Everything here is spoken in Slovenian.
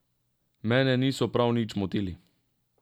Mene niso prav nič motili.